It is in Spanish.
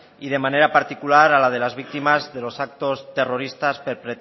y de manera particular a la de las víctimas de los actos terroristas